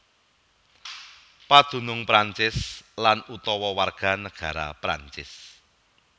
Padunung Prancis lan utawa warganegara Prancis